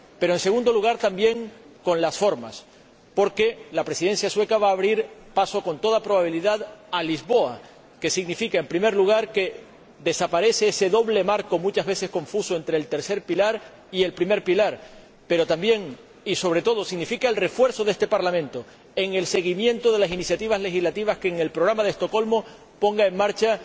En segundo lugar, le invito a ser ambicioso, también con las formas, porque la Presidencia sueca va a abrir paso, con toda probabilidad, a Lisboa, que significa, en primer lugar, que desaparece ese doble marco, muchas veces confuso, entre el tercer pilar y el primer pilar, pero también, y sobre todo, significa el refuerzo de este Parlamento en el seguimiento de las iniciativas legislativas que en el Programa de Estocolmo ponga en marcha